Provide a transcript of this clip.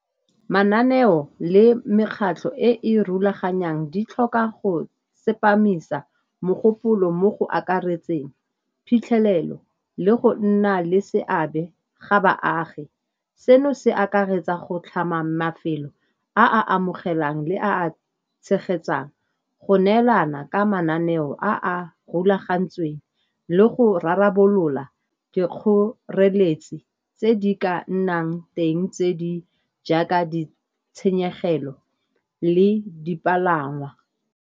Mananeo le mekgatlho e e rulaganyang di tlhoka go tsepamisa mogopolo mo go akaretseng phitlhelelo le go nna le seabe ga baagi. Seno se akaretsa go tlhama mafelo a a amogelang le a a tshegetsang go neelana ka mananeo a a rulagantsweng le go rarabolola di kgoreletsi tse di ka nnang teng tse di jaaka di tshenyegelo le dipalangwa.